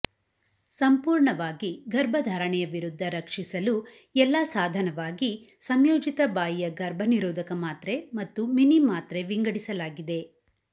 ಸಂಪೂರ್ಣವಾಗಿ ಗರ್ಭಧಾರಣೆಯ ವಿರುದ್ಧ ರಕ್ಷಿಸಲು ಎಲ್ಲಾ ಸಾಧನವಾಗಿ ಸಂಯೋಜಿತ ಬಾಯಿಯ ಗರ್ಭನಿರೋಧಕ ಮಾತ್ರೆ ಮತ್ತು ಮಿನಿ ಮಾತ್ರೆ ವಿಂಗಡಿಸಲಾಗಿದೆ